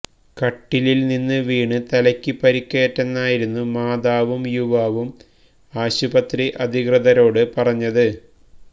കട്ടിലില് നിന്ന് വീണ് തലയ്ക്ക് പരിക്കേറ്റെന്നായിരുന്നു മാതാവും യുവാവും ആശുപത്രി അധികൃതരോട് പറഞ്ഞത്